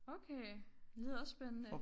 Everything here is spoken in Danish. Okay lyder også spændende